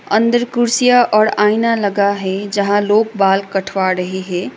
अंदर कुर्सियां और आईना लगा है जहां लोग बाल कठवा डहे है।